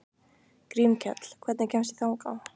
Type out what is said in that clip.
Grímkell, hvernig kemst ég þangað?